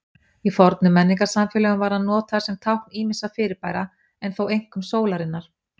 Í fornum menningarsamfélögum var hann notaður sem tákn ýmissa fyrirbæra, en þó einkum sólarinnar.